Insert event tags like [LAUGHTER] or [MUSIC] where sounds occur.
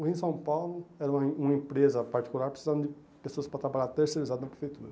O [UNINTELLIGIBLE] São Paulo era uma em uma empresa particular, precisava de pessoas para trabalhar terceirizadas na prefeitura.